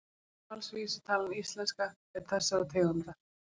Úrvalsvísitalan íslenska er þessarar tegundar.